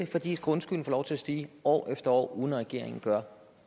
fordi grundskylden får lov til at stige år efter år uden at regeringen gør